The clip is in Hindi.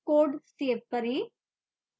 code सेव करें